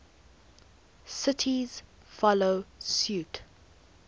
cities follow suit